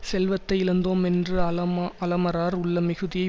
செல்வத்தை இழந்தோமென்று அலம அலமரார் உள்ள மிகுதியை